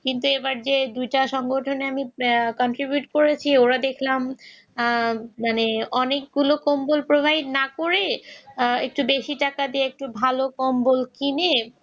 কিন্তু এবার যে দুইটা সংগঠনের দেখলাম অনেকগুলো কম্বল provide না করে একটু বেশি টাকা দিয়ে একটু ভালো কম্বল কিনে